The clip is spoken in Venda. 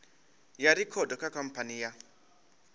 ya rekhodo kha khamphani ya